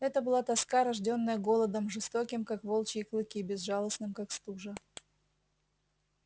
это была тоска рождённая голодом жестоким как волчьи клыки безжалостным как стужа